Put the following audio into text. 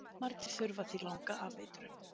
Margir þurfa því langa afeitrun